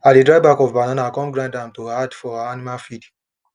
i de dry back of banana come grind am to add for animal feed